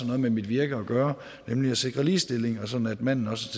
noget med mit virke at gøre nemlig at sikre ligestilling sådan at manden også